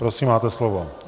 Prosím, máte slovo.